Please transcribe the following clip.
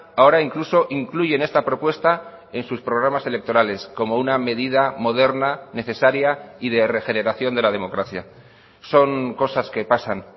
ahora incluso incluyen esta propuesta en sus programas electorales como una medida moderna necesaria y de regeneración de la democracia son cosas que pasan